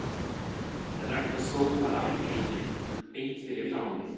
En Ragnar stóð bara allt í einu beint fyrir framan mig.